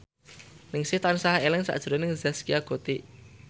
Ningsih tansah eling sakjroning Zaskia Gotik